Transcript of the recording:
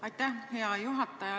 Aitäh, hea juhataja!